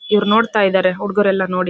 ಇವರು ನೋಡ್ತಾ ಇದಾರೆ ಹುಡುಗರೆಲ್ಲ ನೋಡಿ.